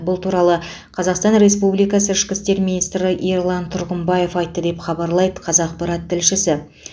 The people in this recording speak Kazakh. бұл туралы қазақстан республикасы ішкі істер министрі ерлан тұрғымбаев айтты деп хабарлайды қазақпарат тілшісі